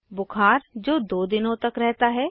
बुखार जो 2 दिनों तक रहता है